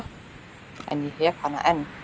En ég hef hana enn.